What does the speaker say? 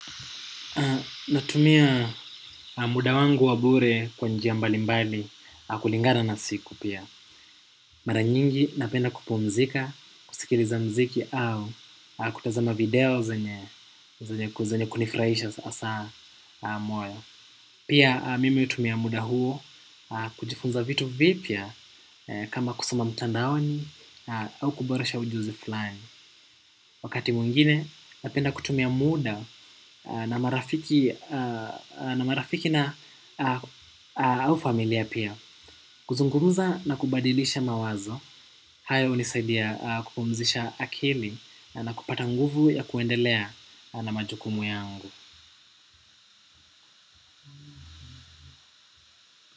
Natumia muda wangu wa bure kwa njia mbali mbali kulingana na siku pia. Mara nyingi napenda kupumzika, kusikiriza mziki au kutazama video zenye ku kunifraisha asa mwaya. Pia mimi utumia muda huo kujifunza vitu vipia kama kusoma mtanda woni au kuboresha ujuzi fulani. Wakati muingine napenda kutumia muda na marafiki na au familia pia. Kuzungumuza na kubadilisha mawazo. Haya unisaidia kupumzisha akili na kupata nguvu ya kuendelea na majukumu yangu.